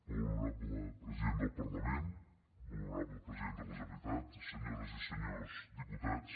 molt honorable president del parlament molt honorable president de la generalitat senyores i senyors diputats